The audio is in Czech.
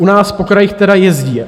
U nás po krajích teda jezdí.